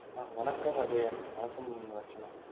ஆஹ் வணக்கம் அஜயன் வணக்கம் ரட்சனா